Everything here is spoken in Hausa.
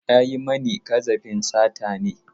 Ya yi mani ƙazafin sata ne.